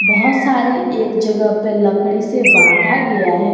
बहुत सारी एक जगह पे लकड़ी से बांधा गया है।